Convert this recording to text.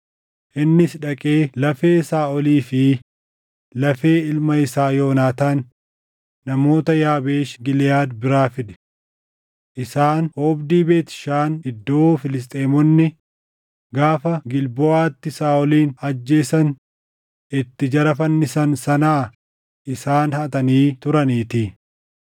innis dhaqee lafee Saaʼolii fi lafee ilma isaa Yoonaataan namoota Yaabeesh Giliʼaad biraa fide. Isaan oobdii Beet Shaan iddoo Filisxeemonni gaafa Gilboʼaatti Saaʼolin ajjeesan itti jara fannisan sanaa isaan hatanii turaniitii.